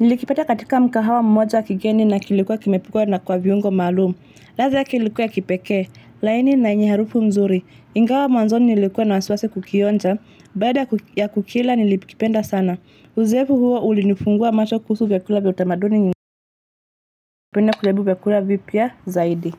Nilikipata katika mkahawa mmoja kigeni na kilikuwa kimepikwa na kwa viungo malumu. Ladha yake kilikuwa ya kipeke. Laini na yenye harufu mzuri. Ingawa mwanzoni nilikuwa na wasiwasikukionja. Baada ya kukila nilikipenda sana. Uzoefu huo ulinifungua macho kuhusu vyakula vya utamaduni nyingi. Ningependa kujaribu vyakula vipya zaidi.